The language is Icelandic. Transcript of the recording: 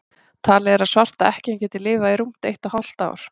talið er að svarta ekkjan geti lifað í rúmt eitt og hálft ár